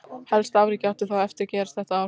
Helsta afrekið átti þó eftir gerast þetta ár.